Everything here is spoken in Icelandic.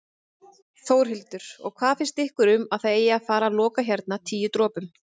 Við jarðskjálfta geta slíkar vatnsæðar hins vegar opnast aftur eins og mörg dæmi eru um.